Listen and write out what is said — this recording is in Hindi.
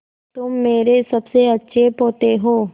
तुम मेरे सबसे अच्छे पोते हो